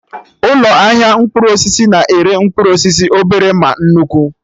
Ụlọ ahịa mkpụrụ osisi na-ere mkpụrụ osisi obere ma nnukwu